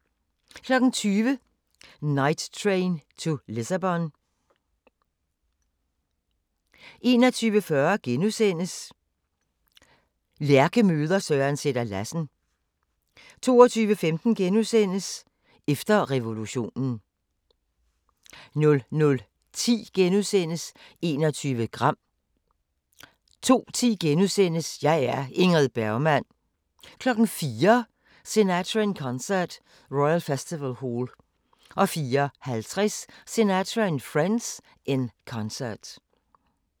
20:00: Night Train to Lisbon 21:40: Lærke møder Søren Sætter-Lassen * 22:15: Efter revolutionen * 00:10: 21 gram * 02:10: Jeg er Ingrid Bergman * 04:00: Sinatra in Concert – Royal Festival Hall 04:50: Sinatra and Friends – In Concert